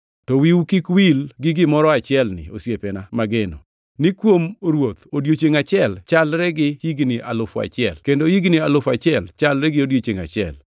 To wiu kik wil gi gimoro achielni osiepena mageno: Ni kuom Ruoth odiechiengʼ achiel chalre gi higni alufu achiel, kendo higni alufu achiel chalre gi odiechiengʼ achiel.